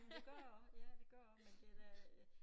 Jamen det gør jeg også ja det gør jeg også men det da